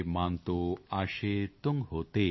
ਮਾਨਤੋ ਆਸ਼ੇ ਤੁੰਗ ਹੋਤੇ